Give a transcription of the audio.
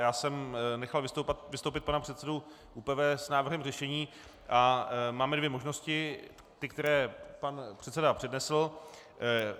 Já jsem nechal vystoupit pana předsedu ÚPV s návrhem řešení, a máme dvě možnosti, ty, které pan předseda přednesl.